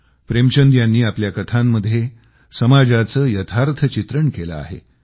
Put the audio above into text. प्रेमचंद यांनी आपल्या कथांमध्ये समाजाचं यथार्थ चित्रण केलं आहे